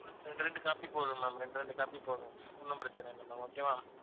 ரெண்டு, ரெண்டு copy போதும் ma'am ரெண்டு, ரெண்டு copy போதும் ஒண்ணும் பிரச்சனை இல்ல ma'am okay வா